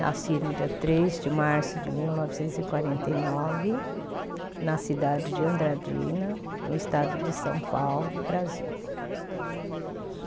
Nasci no dia três de março de mil novecentos e quarenta e nove, na cidade de Andradina, no estado de São Paulo, Brasil.